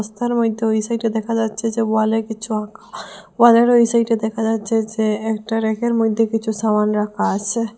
রাস্তার মইধ্যে ওই সাইডে দেখা যাচ্ছে যে ওয়ালে কিছু আঁকা ওয়ালের ওই সাইডে দেখা যাচ্ছে যে একটা ব়্যাকের মইধ্যে কিছু সামান রাখা আসে।